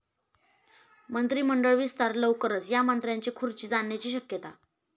मंत्रिमंडळ विस्तार लवकरच, या मंत्र्यांची खुर्ची जाण्याची शक्यता?